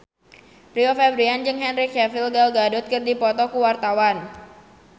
Rio Febrian jeung Henry Cavill Gal Gadot keur dipoto ku wartawan